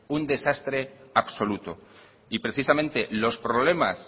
un desastre absoluto y precisamente los problemas